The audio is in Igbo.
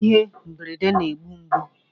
Ihe mberede na-egbu mgbu